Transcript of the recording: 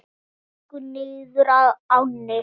Þau gengu niður að ánni.